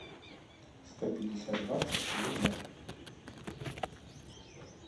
сто пятьдесят баксов в рублях